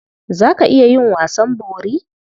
Za ka iya yin wasan bori?